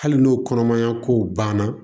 Hali n'o kɔnɔmaya kow banna